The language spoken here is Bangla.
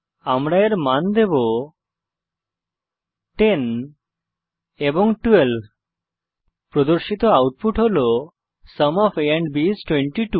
আমি এর মান দেবো 10 এবং 12 প্রদর্শিত আউটপুট হল sum of a and b is 22